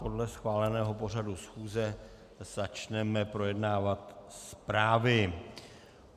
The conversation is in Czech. Podle schváleného pořadu schůze začneme projednávat zprávy.